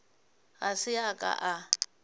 ga se a ka a